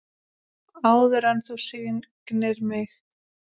Áður en þú signdir mig.